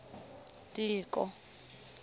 tiko